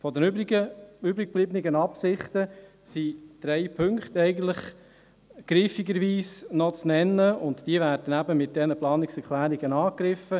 Von den übriggebliebenen Absichten sind eigentlich drei Punkte griffigerweise noch zu nennen, und diese werden eben mit den Planungserklärungen angegriffen: